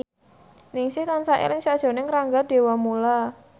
Ningsih tansah eling sakjroning Rangga Dewamoela